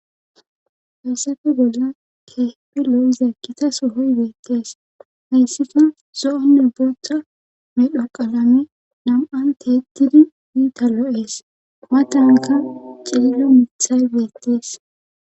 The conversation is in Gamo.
hayssafe bolla keehepi lo7iza kita sohoy beettees hayssika zo7onne boththa medho qalame nam7anteettidi iita lo7ees matanka ciillo mithay beettees